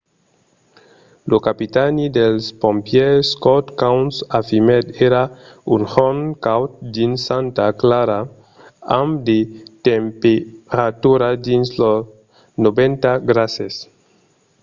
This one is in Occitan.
lo capitani dels pompièrs scott kouns afirmèt: èra un jorn caud dins santa clara amb de temperaturas dins los 90 grases